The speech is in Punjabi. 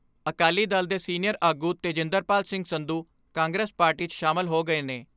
ਅਕਾਲੀ ਦਲ ਦੇ ਸੀਨੀਅਰ ਆਗੂ ਤੇਜਿੰਦਰਪਾਲ ਸਿੰਘ ਸੰਧੂ ਕਾਂਗਰਸ ਪਾਰਟੀ 'ਚ ਸ਼ਾਮਲ ਹੋ ਗਏ ਨੇ।